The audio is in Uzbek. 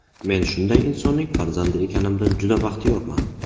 Men shunday insonning farzandi ekanimdan juda baxtiyorman.